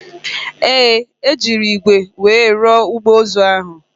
Ee, e jiri ígwè were rụọ igbe ozu ahụ